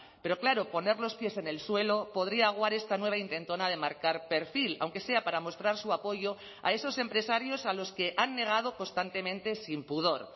pero claro poner los pies en el suelo podría aguar esta nueva intentona de marcar perfil aunque sea para mostrar su apoyo a esos empresarios a los que han negado constantemente sin pudor